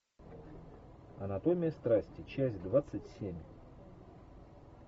анатомия страсти часть двадцать семь